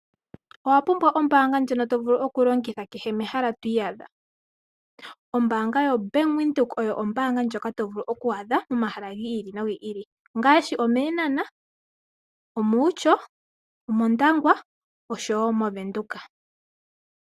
Owa pumbwa ombaanga ndjono to vulu okulongitha kehe mehala to iyadha? Ombaanga yoBank Windhoek oyo ombaanga ndjoka to vulu oku adha momahala gi ili nogi ili. Ongaashi omEenhana, omOutjo, omOndangwa oshowo moVenduka.